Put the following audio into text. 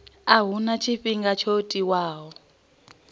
a huna tshifhinga tsho tiwaho